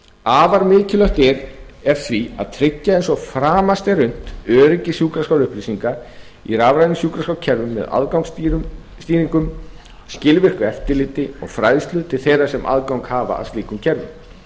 afar mikilvægt er því að tryggja eins og framast er unnt öryggi sjúkraskrárupplýsinga í rafrænu sjúkraskrárkerfum með aðgangsstýringum skilvirku eftirliti og fræðslu til þeirra sem aðgang hafa að slíkum kerfum